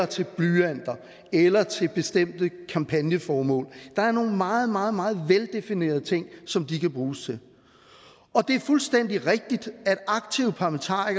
til blyanter eller til bestemte kampagneformål der er nogle meget meget meget veldefinerede ting som de kan bruges til og det er fuldstændig rigtigt